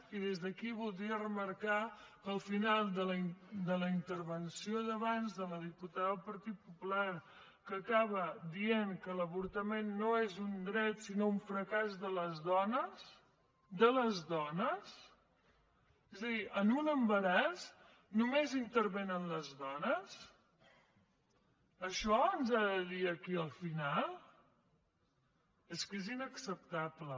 i des d’aquí voldria remarcar que el final de la intervenció d’abans de la diputada del partit popular que acaba dient que l’avortament no és un dret sinó un fracàs de les dones de les dones és a dir en un embaràs només intervenen les dones això ens ha de dir aquí al final és que és inacceptable